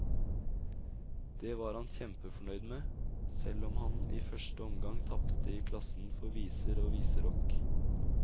Det var han kjempefornøyd med, selv om han i første omgang tapte i klassen for viser og viserock.